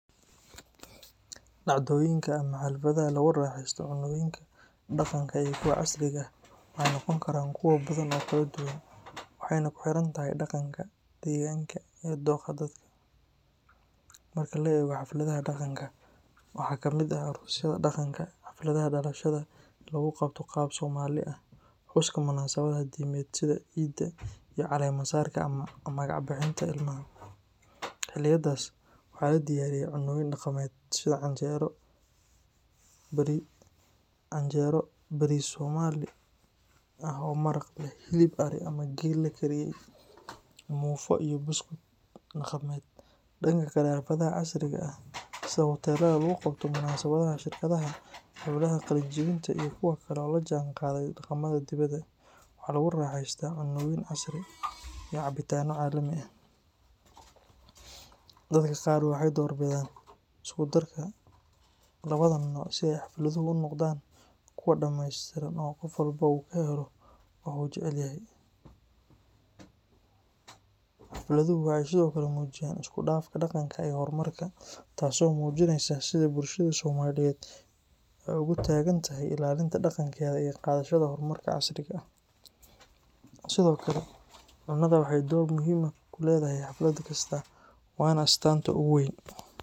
Dacdoyinka ama xafladaha lagu raaxeysto cunnooyinka dhaqanka iyo kuwa casriga ah waxay noqon karaan kuwo badan oo kala duwan, waxayna ku xiran tahay dhaqanka, deegaanka, iyo dookha dadka. Marka la eego xafladaha dhaqanka, waxaa ka mid ah aroosyada dhaqanka, xafladaha dhalashada ee lagu qabto qaab Soomaali ah, xuska munaasabadaha diimeed sida Ciidda, iyo caleemo-saarka ama magac bixinta ilmaha. Xilliyadaas waxaa la diyaariyaa cunnooyin dhaqameed sida canjeero, bariis Soomaali ah oo maraq leh, hilib ari ama geel la kariyey, muufo iyo buskud dhaqameed. Dhanka kale, xafladaha casriga ah sida kuwa hoteelada lagu qabto, munaasabadaha shirkadaha, xafladaha qalin-jabinta iyo kuwo kale oo la jaanqaaday dhaqamada dibadda, waxaa lagu raaxeystaa cunnooyin casri ah sida baasto, chicken steak, salad, keegyada kala duwan, cuntooyin shiilan iyo cabitaanno caalami ah. Dadka qaar waxay doorbidaan isku darka labadan nooc si ay xafladuhu u noqdaan kuwo dhammaystiran oo qof walba uu ka helo wax uu jecel yahay. Xafladuhu waxay sidoo kale muujiyaan isku dhafka dhaqanka iyo horumarka, taas oo muujinaysa sida bulshada Soomaaliyeed ay ugu taagan tahay ilaalinta dhaqankeeda iyo qaadashada horumarka casriga ah. Sidoo kale, cunnadu waxay door muhiim ah ku leedahay xaflad kasta, waana astaanta ugu weyn.